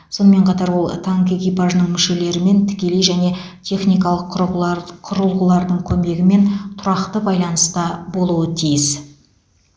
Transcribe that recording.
сонымен қатар ол танк экипажының мүшелерімен тікелей және техникалық құрығар құрылғылардың көмегімен тұрақты байланыста болуы тиіс